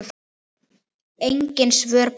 Engin svör bárust.